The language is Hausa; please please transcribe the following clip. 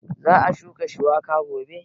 Za a shuka shuiwaka gobe.